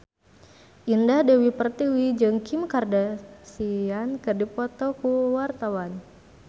Indah Dewi Pertiwi jeung Kim Kardashian keur dipoto ku wartawan